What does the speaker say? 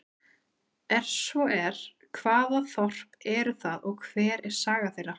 Er svo er, hvaða þorp eru það og hver er saga þeirra?